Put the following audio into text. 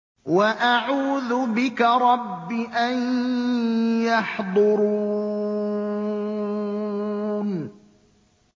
وَأَعُوذُ بِكَ رَبِّ أَن يَحْضُرُونِ